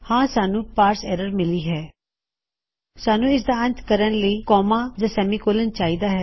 ਹਾਂ ਸਾਨੂੰ parse error ਮਿਲੀ ਹੈ ਸਾਨੂੰ ਇਸਦਾ ਅੰਤ ਕਰਨ ਲਈ ਕੋਮਾ ਜਾਂ ਸੈਮੀਕੋਲੋਨ ਚਾਹੀਦਾ ਹੈ